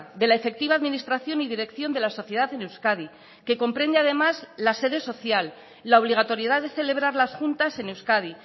de la efectiva administración y dirección de la sociedad en euskadi que comprende además la sede social la obligatoriedad de celebrar las juntas en euskadi